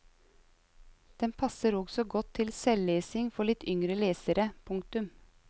Den passer også godt til selvlesning for litt yngre lesere. punktum